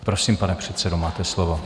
Prosím, pane předsedo, máte slovo.